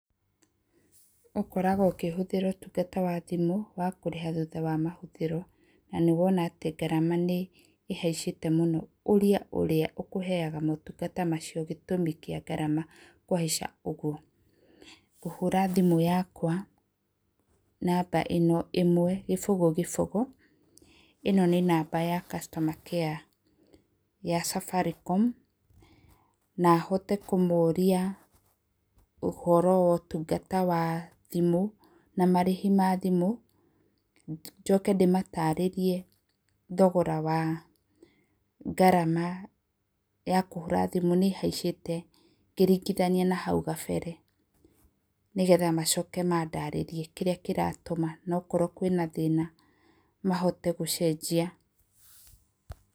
Ũkoragwo ũkĩhũthĩra ũtungata wa thimũ wa kũrĩha thutha wa mahũthĩro, na nĩ wona atĩ ngarama nĩ ĩhaicĩte mũno, ũrĩa ũrĩa ũkuheyaga motungata macio gĩtũmi kĩa ngarama kũhaica ũguo, ngũhũra thimũ yakwa namba ĩno, ĩmwe, gĩbũgũ, gĩbũgũ, ĩno nĩ namba ya Customer Care ya Safaricom, nahote kũmoria ũhoro wotungata wa thimũ, na marĩhi ma thimũ, njoke ndĩmatarĩrie thogora wa ngarama ya kũhũra thimũ nĩ ĩhaicĩte, ngĩrigithania na hau gabere, nĩ getha macoke mandarĩrie kĩrĩa kĩratũma, nokorwo kwĩna thĩna mahote gũcenjia.